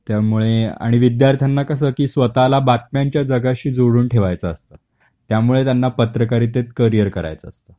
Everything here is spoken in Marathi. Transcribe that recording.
त्यामुळे आणि विद्यार्थ्यांना कस की स्वतः ला बातम्यांच्या जगाशी जोडून ठेवायच असत, त्यामुळे त्यांना पत्रकारितेत करिअर करायच असत.